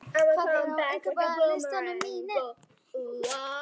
Eylín, hvað er á innkaupalistanum mínum?